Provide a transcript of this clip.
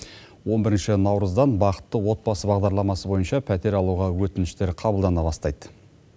он бірінші наурыздан бақытты отбасы бағдарламасы бойынша пәтер алуға өтініштер қабылдана бастайды